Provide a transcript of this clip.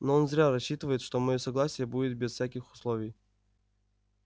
но он зря рассчитывает что моё согласие будет без всяких условий